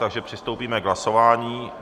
Takže přistoupíme k hlasování.